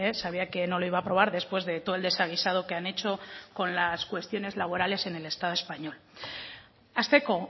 sabía que no le iba a aprobar después de todo el desaguisado que han hecho con las cuestiones laborales en el estado español hasteko